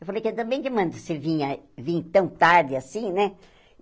Eu falei, que também que manda você vir a vir tão tarde assim, né?